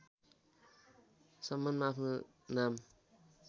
सम्मानमा आफ्नो नाम